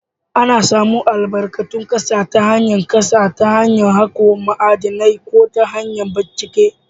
Ana samun albarkatun ƙasa ta hanyar ƙasa ta hanyar hako ma'adinai ko ta hanyar bincike.